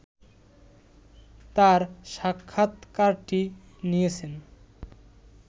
তার সাক্ষাৎকারটি নিয়েছেন